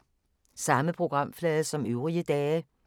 Samme programflade som øvrige dage